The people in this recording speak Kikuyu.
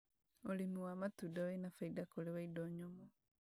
ũrĩmi wa matunda wĩna baida kũrĩ wa indo nyũmũ